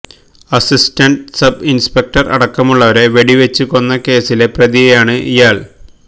assistant sub inspector അടക്കമുള്ളവരെ വെടിവച്ചു കൊന്ന കേസിലെ പ്രതിയാണ് ഇയാള്